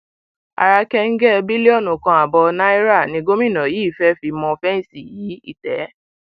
ara kẹńgẹ bílíọnù kan ààbọ náírà ni gómìnà yìí fẹẹ fi mọ fẹǹsì yí ìtẹ